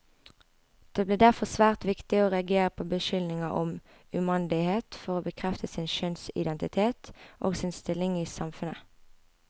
Det ble derfor svært viktig å reagere på beskyldninger om umandighet for å bekrefte sin kjønnsidentitet, og sin stilling i samfunnet.